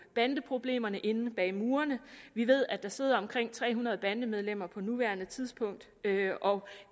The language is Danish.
bandeproblemerne inde bag murene vi ved at der sidder omkring tre hundrede bandemedlemmer på nuværende tidspunkt og